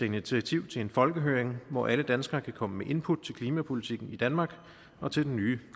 initiativ til en folkehøring hvor alle danskere kan komme med input til klimapolitikken i danmark og til den nye